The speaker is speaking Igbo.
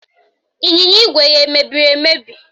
Ịnyịnya ígwè ya emebiri emebi?